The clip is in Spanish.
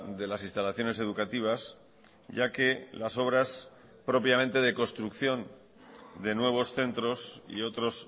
de las instalaciones educativas ya que las obras propiamente de construcción de nuevos centros y otros